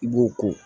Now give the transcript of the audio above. I b'o ko